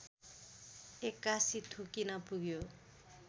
एक्कासि ठोकिन पुग्यो